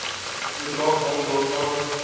bedrag hang daarvan